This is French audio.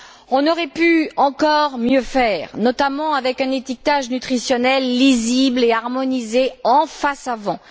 On aurait pu encore mieux faire, notamment avec un étiquetage nutritionnel lisible et harmonisé en face avant.